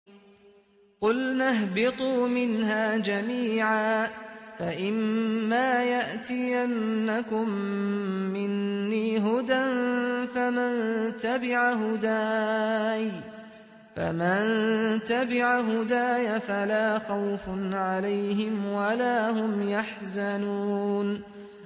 قُلْنَا اهْبِطُوا مِنْهَا جَمِيعًا ۖ فَإِمَّا يَأْتِيَنَّكُم مِّنِّي هُدًى فَمَن تَبِعَ هُدَايَ فَلَا خَوْفٌ عَلَيْهِمْ وَلَا هُمْ يَحْزَنُونَ